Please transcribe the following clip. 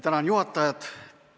Tänan juhatajat!